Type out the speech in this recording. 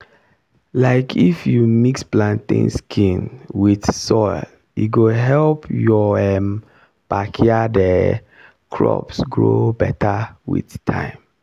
um if you mix plantain skin with soil e go help your um backyard um crops grow better with time.